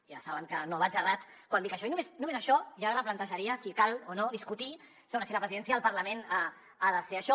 ja saben que no vaig errat quan dic això i només això ja replantejaria si cal o no discutir sobre si la presidència del parlament ha de ser això